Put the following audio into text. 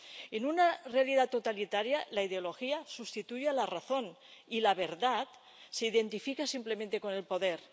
En una realidad totalitaria, la ideología sustituye a la razón, y la verdad se identifica simplemente con el poder.